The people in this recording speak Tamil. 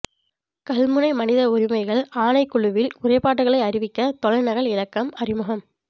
கல்முனை மனித உரிமைகள் ஆணைக்குழுவில் முறைப்பாட்டுகளை அறிவிக்க தொலை நகல் இலக்கம் அறிமுகம்